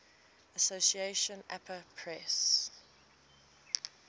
association apa press